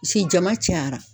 Si jama cayara